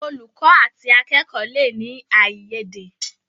Olùkó àti akẹkọ le ní aiyede.